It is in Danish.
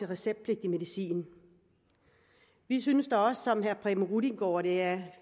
receptpligtig medicin vi synes da også som herre preben rudiengaard at det er